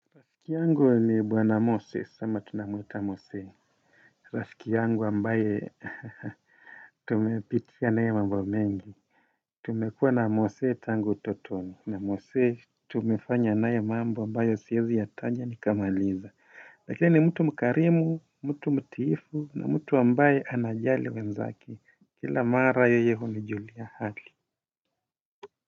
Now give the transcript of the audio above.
Rafiki yangu ni bwana Moses ama tunamuita Mose rafiki yangu ambaye tumepitia nae mambo mengi tumekua na Mose tangu utotoni na mose tumefanya naye mambo ambayo siwezi yataja nikamaliza lakini mtu mkarimu mtu mtiifu na mtu ambaye anajali wenzake kila mara yeye hunijulia hali.